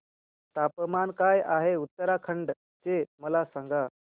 तापमान काय आहे उत्तराखंड चे मला सांगा